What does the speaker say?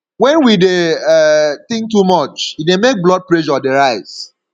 when we dey um think too much e dey make blood pressure dey rise